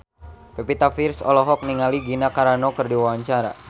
Pevita Pearce olohok ningali Gina Carano keur diwawancara